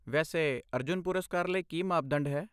ਵੈਸੇ, ਅਰਜੁਨ ਪੁਰਸਕਾਰ ਲਈ ਕੀ ਮਾਪਦੰਡ ਹੈ?